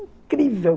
Incrível.